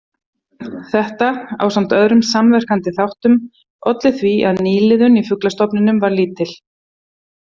Þetta, ásamt öðrum samverkandi þáttum, olli því að nýliðun í fuglastofnunm varð lítil.